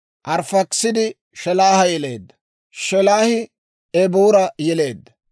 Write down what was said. Arifaakisaadi Shelaaha yeleedda. Shelaahi Eboora yeleedda.